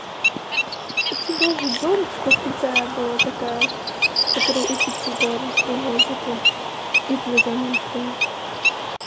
у тебя же бабушка крутая была такая которая учит тебя русскому языку и плюс английскому